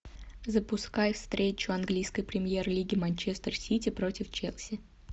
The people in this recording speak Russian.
запускай встречу английской премьер лиги манчестер сити против челси